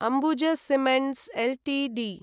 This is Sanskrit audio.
Ambuj cements Ltd